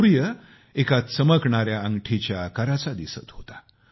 सूर्य एका चमकणाऱ्या अंगठीच्या आकाराचा दिसत होता